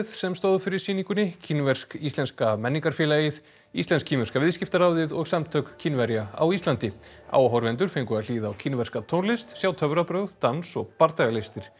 sem stóð fyrir sýningunni Kínversk íslenska menningarfélagið íslensk kínverska viðskiptaráðið og samtök Kínverja á Íslandi áhorfendur fengu að hlýða á kínverska tónlist sjá töfrabrögð dans og bardagalistir